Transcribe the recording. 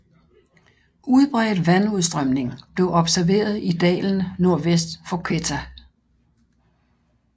Udbredt vandudstrømning blev observeret i dalen nordvest for Quetta